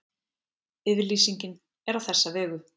Yfirlýsingin er á þessa vegu